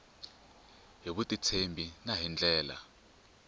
hi vutitshembi na hi ndlela